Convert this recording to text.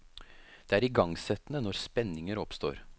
Det er igangsettende når spenninger oppstår.